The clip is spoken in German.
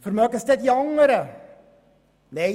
Vermögen es die anderen?